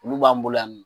Olu b'an bolo yan nɔ